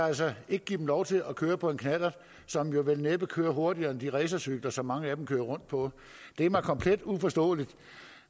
altså ikke give dem lov til at køre på en knallert som jo vel næppe kører hurtigere end de racercykler som mange af dem kører rundt på det er mig komplet uforståeligt